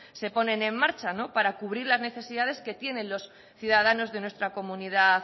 se ponen en marcha para cubrir las necesidades que tienen los ciudadanos de nuestra comunidad